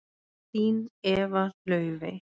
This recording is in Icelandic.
Þín Eva Laufey.